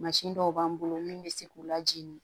Mansin dɔw b'an bolo min bɛ se k'u lajigin